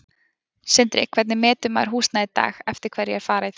Sindri: Hvernig metur maður húsnæði í dag, eftir hverju er farið?